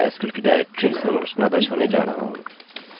यहाँ मैं mysql की डायरेक्टरी संरचना दर्शाने जा रहा हूँ